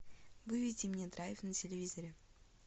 выведи мне драйв на телевизоре